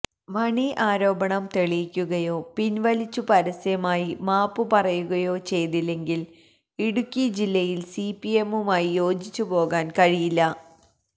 മണി ആരോപണം തെളിയിക്കുകയോ പിൻവലിച്ചു പരസ്യമായി മാപ്പു പറയുകയോ ചെയ്തില്ലെങ്കിൽ ഇടുക്കി ജില്ലയിൽ സിപിഎമ്മുമായി യോജിച്ചുപോകാൻ കഴിയില്ല